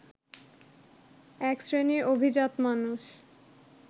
এক শ্রেণীর অভিজাত মানুষ